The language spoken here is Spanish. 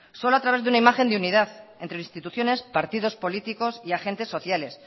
solo a través de una imagen de unidad entre instituciones partidos políticos y agentes sociales